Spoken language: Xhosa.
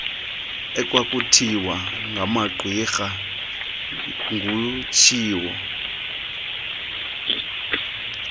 ekwakusithiwa ngamagqwirha ngutshiwo